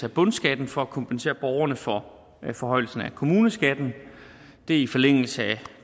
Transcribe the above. af bundskatten for at kompensere borgerne for forhøjelsen af kommuneskatten det er i forlængelse af